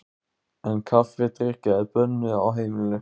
En kaffidrykkja er bönnuð á heimilinu.